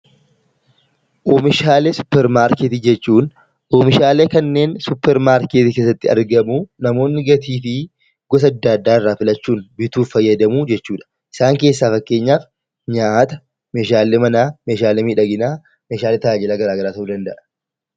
Oomishaalee suupermaarkeetii jechuun oomishaalee suupermaarkeetii keessatti argamu, kanneen gatii fi gosa addaa addaa irraa filachuun itti fayyadamuu jechuudha. Isaan keessaa fakkeenyaaf nyaata, Meeshaalee manaa, Meeshaalee miidhaginaa , Meeshaalee tajaajila garaagaraa ta'uu danda'a.